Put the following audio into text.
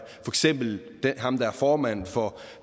ham der er formand for